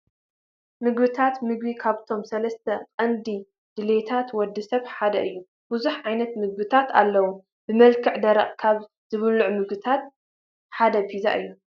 ምግቢታት፡- ምግቢ ካብቶም 3 ቀንዲ ድልየታት ወዲ ሰብ ሓደ እዩ፡፡ ብዙሓት ዓይነታት ምግብታት ኣለው፡፡ ብመልክዕ ደረቕ ካብ ዝብልዑ ምግብታት ሓደ ፒዛ እዩ፡፡